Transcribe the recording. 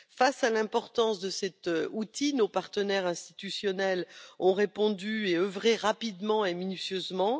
Face à l'importance de cet outil, nos partenaires institutionnels ont répondu et œuvré rapidement et minutieusement.